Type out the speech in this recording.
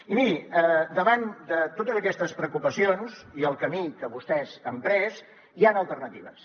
i miri davant de totes aquestes preocupacions i el camí que vostès han pres hi han alternatives